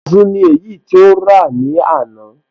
Azu ni èyí tí ó rà ní àná.